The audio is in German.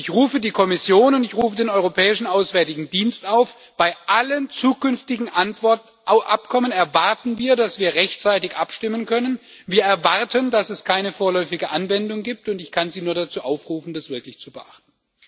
Und ich rufe die Kommission und rufe den Europäischen Auswärtigen Dienst auf Bei allen zukünftigen Abkommen erwarten wir, dass wir rechtzeitig abstimmen können, wir erwarten, dass es keine vorläufige Anwendung gibt, und ich kann sie nur dazu aufrufen, das wirklich zu beachten.